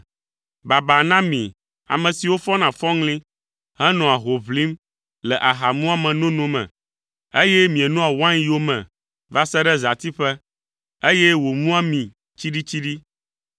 Baba na mi, ame siwo fɔna fɔŋli henɔa ho ʋlim le aha muame nono me, eye mienɔa wain yome va se ɖe zãtiƒe, eye wòmua mi tsiɖitsiɖi.